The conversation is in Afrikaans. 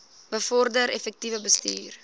bevorder effektiewe bestuur